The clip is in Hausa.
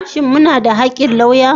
Shin muna da haƙƙin lauya?